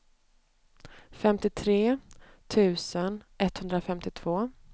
femtiotre tusen etthundrafemtiotvå